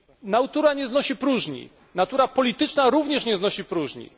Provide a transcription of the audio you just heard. Natura nie znosi próżni, natura polityczna również nie znosi próżni.